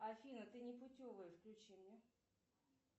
афина ты непутевая включи мне